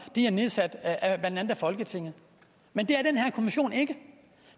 er nedsat af folketinget men det er den her kommission ikke